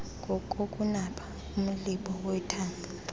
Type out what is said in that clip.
ngokokunaba komlibo wethanga